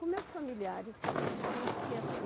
Com meus familiares. A gente tinha